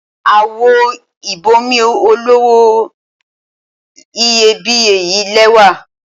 Àwo ìb'omi olówó iyebíye yí lẹ́wà.